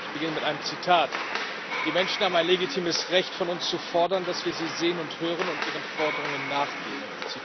Ich beginne mit einem Zitat Die Menschen haben ein legitimes Recht, von uns zu fordern, dass wir sie sehen und hören und ihren Forderungen nachgehen.